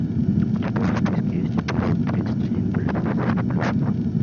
у тебя в списке есть эпизод тридцать один полицейский с рублевки